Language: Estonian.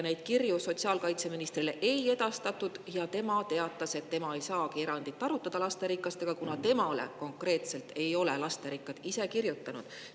Neid kirju sotsiaalkaitseministrile ei edastatud ja tema teatas, et tema ei saagi lasterikaste peredega erandit arutada, kuna temale konkreetselt ei ole lasterikkad pered kirjutanud.